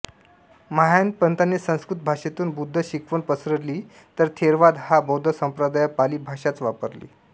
महायान पंथाने संस्कृत भाषेतून बुद्ध शिकवण पसरली तर थेरवाद हा बौद्ध संप्रदाय पाली भाषाच वापरली